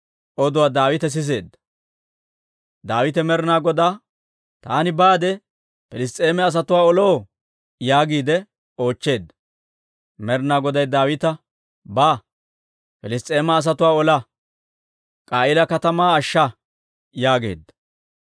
Daawite Med'inaa Godaa, «Taani baade Piliss's'eema asatuwaa oloo?» yaagiide oochcheedda. Med'inaa Goday Daawita, «Ba; Piliss's'eema asatuwaa ola; K'a'iila katamaa ashsha» yaageedda.